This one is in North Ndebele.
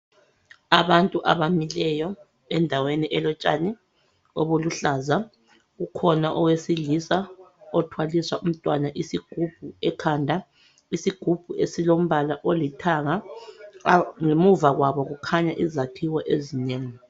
Abantu abamileyo endaweni elotshani obuluhlaza kukhona owesilisa othwalisa umntwana isigubhu ekhanda isigubhu esilombala olithanga ngemuva kwabo kukhanya izakhiwo ezinengi